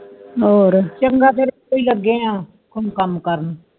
ਹੋਰ ਚੰਗਾ ਫੇਰ ਤੁਸੀ ਲੱਗੇ ਆ ਕਾਮ ਕਰਨ